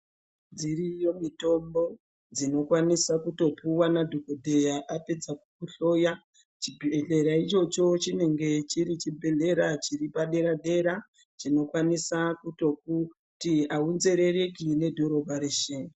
Dziriyo mitombo dzinokwanisa kutopuwa nadhokodheya apedza kukuhloya chibhedhlera ichocho chinenge chiri chibhedhlera chinenge chiri chibhedhlera chiri padera dera chinokwanisa kuti aunzerereki nedhorobha reshe.